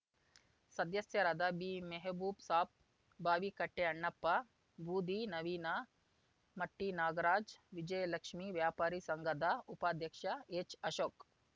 ಸದಸ್ಯರಾದ ಬಿಮೆಹಬೂಬ್‌ ಸಾಬ್‌ ಬಾವಿಕಟ್ಟೆಅಣ್ಣಪ್ಪ ಬೂದಿ ನವೀನ ಮಟ್ಟಿನಾಗರಾಜ ವಿಜಯಲಕ್ಷ್ಮೀ ವ್ಯಾಪಾರಿ ಸಂಘದ ಉಪಾಧ್ಯಕ್ಷ ಎಚ್‌ಅಶೋಕ್